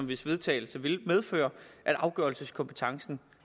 hvis vedtagelse ville medføre at afgørelseskompetencen